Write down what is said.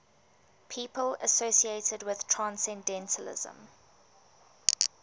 people associated with transcendentalism